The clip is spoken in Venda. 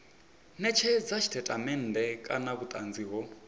netshedza tshitatamennde kana vhutanzi ho